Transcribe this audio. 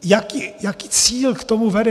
Jaký cíl k tomu vede?